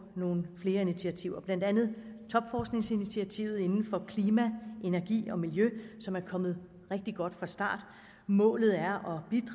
nogle flere initiativer blandt andet topforskningsinitiativet inden for klima energi og miljø som er kommet rigtig godt fra start målet er